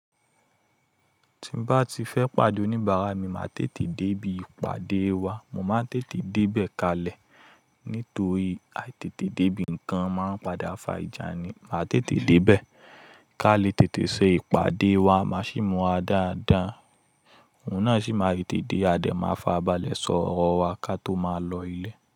Tin bá ti fẹ́ pàdé oníbàárà mi ma tètè débi ìpàdé wa, mo máa ń tètè débẹ̀ kalẹ̀, nítorí àìtètè débi nkan ń máa padà ń fa ìjà ni. Màá tètè débee kalẹ̀ tètè ṣe ìpàdé wa, má sì múra dáadáa. Òun náà sì máa tètè dé, a dẹ̀ máa fa abalẹ̀ sọ̀rọ̀ wa ká tó máa lọ ilé.